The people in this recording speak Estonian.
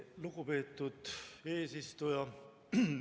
Lugupeetud eesistuja!